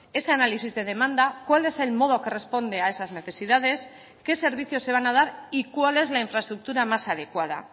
ese análisis de demanda cuál es el modo que responde a esas necesidades qué servicios se van a dar y cuál es la infraestructura más adecuada